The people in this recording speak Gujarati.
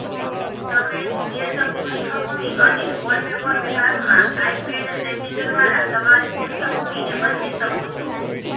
તમે તેજ પૃષ્ઠભૂમિ અને વોલપેપર વિભાગમાં આઇપેડ સેટિંગ્સ દ્વારા તમારી પૃષ્ઠભૂમિને બદલી શકો છો